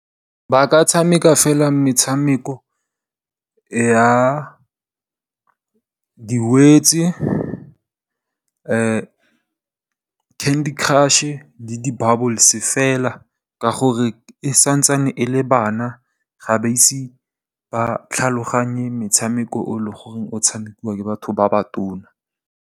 Ba ka tshameka fela metshameko ya di Words, Candy Crush, le di Bubbles fela ka gore santsane e le bana ga ba ise ba tlhaloganye metshameko o leng gore o tshamekiwa ke batho ba ba tona.